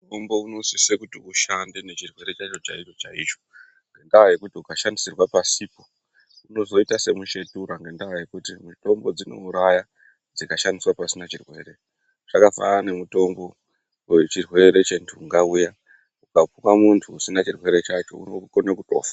Mutombo unosisa kuti ushande nechirwere chaicho chaicho ngendaa yekuti ukashandisirwa pasipo unoita semuchetura ngenda yekuti mitombo dzinouraya dzikashandiswa pasina chirwere zvakafanana nemutombo wechirwere chendunga ukapuwa muntu usina chirwere chacho unokona kutofa.